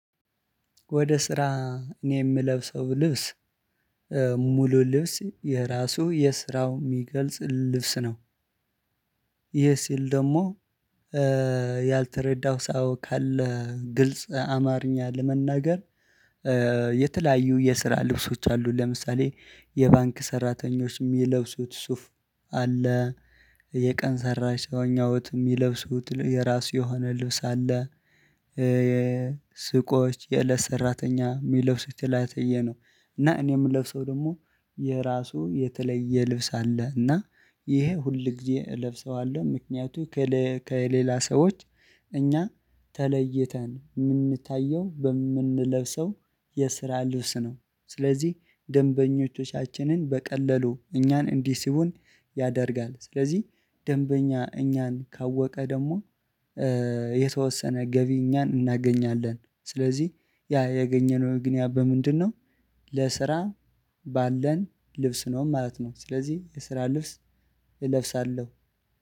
ወደ ስራ እኔ የምለብሰው ልብስ ሙሉ ልብስ የራሱ የስራው ሚገልጽ ልብስ ነው። ይሄ ሲል ደሞ ኧ ያልተረዳው ሰው ካለ ግልጽ አማርኛ ለመናገር። የተለያዩ የስራ ልብሶች አሉ ለምሳሌ የባንክ ሰራተኞች እሚለብሱት ሱፍ አለ። የቀን ሰራሽ ሰውኛወት እሚለብሱት ትል የራሱ የሆነ ልብስ አለ። እ የ የ ሱቆች የእለት ሰራተኛ እሚለብሱት ትላትየ ነው። እና እኔ እምለብሰው ደግሞ የራሱ የተለየ ልብስ አለ እና ይሄ ሁል ጊዜ እለብሰዋለሁ። ምክንያቱ ከሌላ ሰዎች እኛ ተለይተን እምንታየው በምንለብሰው የስራ ልብስ ነው። ስለዚህ ደንበኞቻችንን በቀላሉ እኛን እንዲስቡን ያደርጋል። ስለዚህ ደንበኛ እኛን ካወቀ ደግሞ ኧ የተወሰነ ገቢ እኛ እናገኛለን። ስለዚህ ያ ያገኘነው ግን ያ በምንድነው? ለስራ ባለን ልብስ ነው ማለት ነው። ስለዚህ የስራ ልብስ እለብሳለሁ።